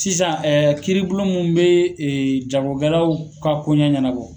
Sisan kiribulon mun bɛ jagokɛlaw ka kɔɲa ɲɛnabɔ.